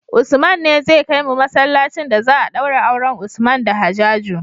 Usman ne zai kai mu masalacin da za a daura auren usman da hajaju